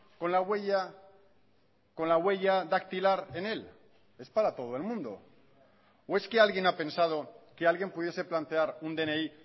con la huella con la huella dactilar en él es para todo el mundo o es que alguien ha pensado que alguien pudiese plantear un dni